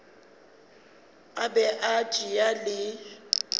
a be a tšea le